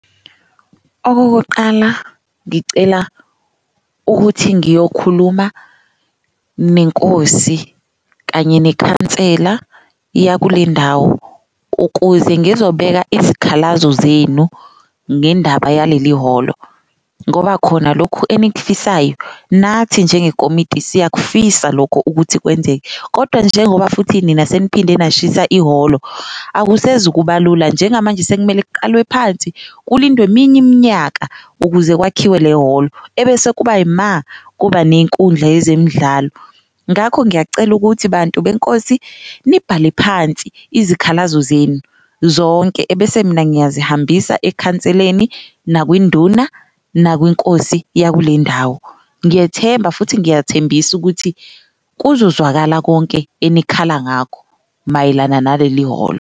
Okokuqala, ngicela ukuthi ngiyokhuluma nenkosi kanye nekhansela yakulendawo ukuze ngizobeka izikhalazo zenu ngendaba yaleli ihholo, ngoba khona lokhu enikufisayo nathi njengekomiti siyakufisa lokho ukuthi kwenzeke. Kodwa njengoba futhi nina seniphinde nashisa ihholo akusezukuba lula njengamanje sekumele kuqalwe phansi kulindwe eminye iminyaka ukuze kwakhiwe le hholo, ebese kuba ima kuba nenkundla yezemidlalo. Ngakho ngiyacela ukuthi bantu benkosi nibhale phansi izikhalazo zenu zonke ebese mina ngiyazihambisa ekhanseleni, nakwinduna, nakwinkosi yakule ndawo. Ngiyethemba futhi ngiyathembisa ukuthi kuzozwakala konke enikhala ngakho mayelana naleli hholo.